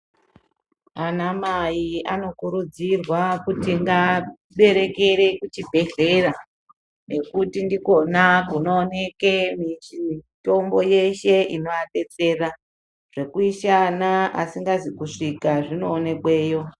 Anamai anokurudzirwa kuti ngaberekere kuchibhehleya nekuti ndikona kunooneke mitombo yeshe inoabetsera. Zvekuisa ana asikazi kusvika zvinoonekweyo.